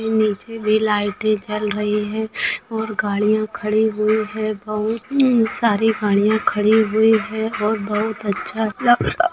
नीचे भी लाइटे जल रही हैं और गाड़ियां खडी हुई है बहुत सारी गाड़िया ख़डी हुई है और बहुत अच्छा लग रहा --